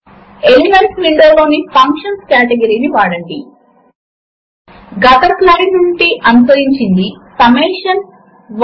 ఇప్పుడు మనము ఇది పూర్తి చేసాము కనుక మీరు ఈ ఎసైన్మెంట్ చేయవలసి ఉంటుంది160 వ్రైటర్ లో ఈ క్రింది ఫార్ములే ను వ్రాయండి